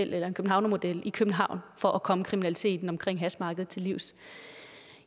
eller en københavnermodel i københavn for at komme kriminaliteten i til livs